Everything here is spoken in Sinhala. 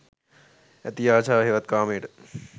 ඇති අශාව හෙවත් කාමයට